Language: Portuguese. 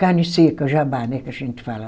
Carne seca, jabá, né que a gente fala.